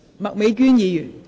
麥美娟議員，請發言。